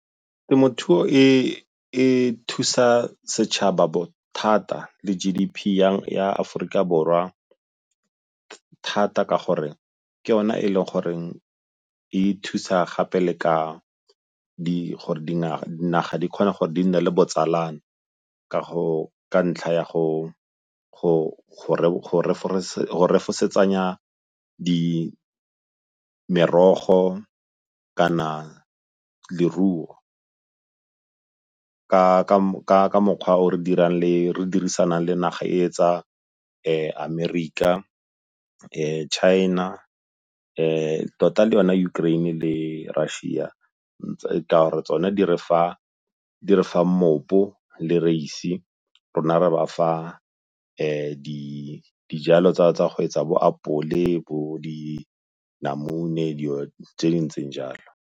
Temothuo e thusa setšhaba bothata le G_D_P ya Aforika Borwa thata ka gore ke yona e le goreng e thusa gape le ka gore dinaga di kgone gore di nne le botsalano ka ntlha ya go refosetsanya merogo kana leruo ka mokgwa o re dirisanang le naga e tsa Amerika, China, tota le yona Ukraine le Russia ka'ore tsone di refa mmopo, le reise, rona re bafa dijalo tsa go etsa bo apole, bo dinamune, dilo tse di ntseng jalo.